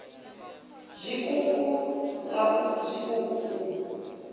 nga zwiṱuku nga zwiṱuku u